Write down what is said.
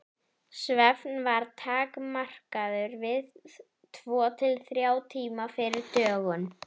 Svefn var takmarkaður við tvo til þrjá tíma fyrir dögun.